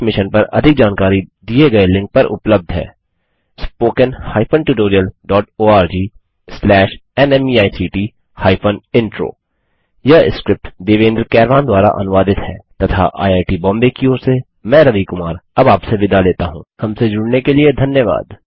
इस मिशन पर अधिक जानकारी दिए गए लिंक पर उपलब्ध है httpspoken tutorialorgNMEICT Intro यह स्क्रिप्ट देवेन्द्र कैरवान द्वारा अनुवादित है तथा आईआई टी बॉम्बे की ओर से मैं रवि कुमार अब आपसे विदा लेता हूँ हमसे जुड़ने के लिए धन्यवाद